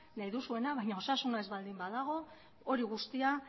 nahi duzuena baina osasuna ez baldin badago hori guztia